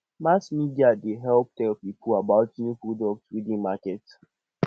mass media dey help tell tell pipo about new product wey dey market